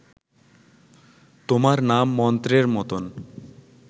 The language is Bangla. তোমার নাম মন্ত্রের মতন